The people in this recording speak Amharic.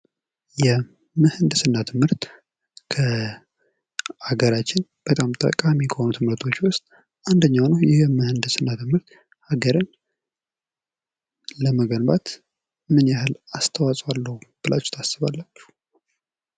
የምህንድስና ትምህርት ከአገራችን በጣም ጠቃሚ ከሆኑ ትምህርቶች ውስጥ አንደኛው ነው። ይህም ምህንድስና ትምህርት አገርን ለመገንባት ምን ያህል አስተዋጽኦ አለው ብላችሁ ታስባላችሁ?